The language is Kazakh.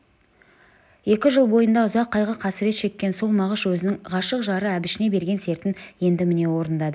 екі жыл бойында ұзақ қайғы-қасірет шеккен сол мағыш өзінің ғашық жары әбішіне берген сертін енді міне орындады